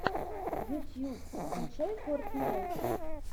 ютьюб скачай фортнайт